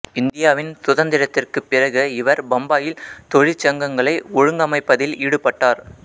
இந்தியாவின் சுதந்திரத்திற்குப் பிறகு இவர் பம்பாயில் தொழிற்சங்கங்களை ஒழுங்கமைப்பதில் ஈடுபட்டார்